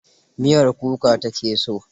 Miyar kuka ta ke so.